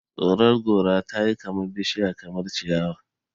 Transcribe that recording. Tsoron gora tayi kamar bishiya kamar ciyawa